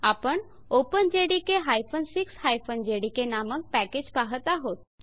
आपण openjdk 6 JDK नामक package पाहत आहोत